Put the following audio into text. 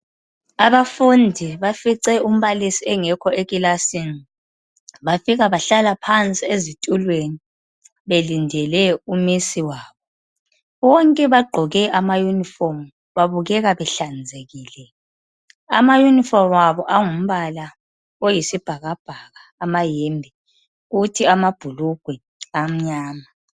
Abafundi bafice umbalisi engekho ekilasini bafika bahlala phansi ezitulweni belindele umisi wabo. Bonke bagqoke ama yunifomu babukeka behlanzekile, ama yunifomu abo angumbala oyisibhakabhaka amayembe kuthi amabhulugwe amnyama.